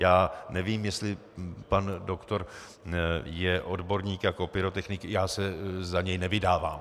Já nevím, jestli pan doktor je odborník jako pyrotechnik, já se za něj nevydávám.